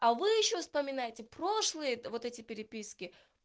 а вы ещё вспоминаете прошлые вот эти переписки